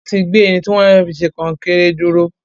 Wọ́n ti gbé irin tí wọ́n fẹ́ fi ṣe kọnkéré dúró.